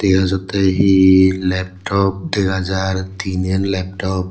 dega jattey hi laptop dega jar tinen laptop .